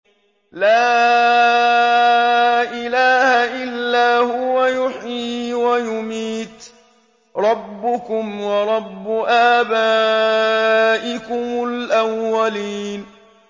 لَا إِلَٰهَ إِلَّا هُوَ يُحْيِي وَيُمِيتُ ۖ رَبُّكُمْ وَرَبُّ آبَائِكُمُ الْأَوَّلِينَ